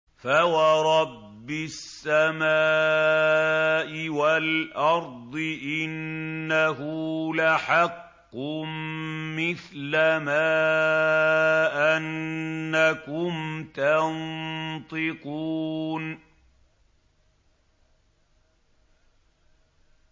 فَوَرَبِّ السَّمَاءِ وَالْأَرْضِ إِنَّهُ لَحَقٌّ مِّثْلَ مَا أَنَّكُمْ تَنطِقُونَ